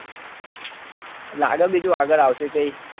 લાગે બીજું આગળ આવશે તે